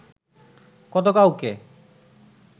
কত কাউকে